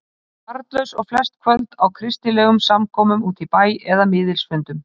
Þau voru barnlaus og flest kvöld á kristilegum samkomum úti í bæ eða miðilsfundum.